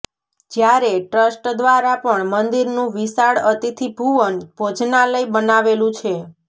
જ્યારે ટ્રસ્ટ દ્વારા પણ મંદિરનું વિશાળ અતિથિ ભુવન ભોજનાલય બનાવેલું છે